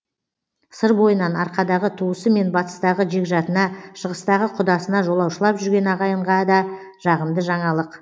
сыр бойынан арқадағы туысы мен батыстағы жекжатына шығыстағы құдасына жолаушылап жүрген ағайынға да жағымды жаңалық